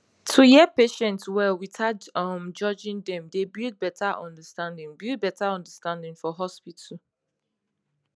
to hear patients well without um judging dem dey build better understanding build better understanding for hospital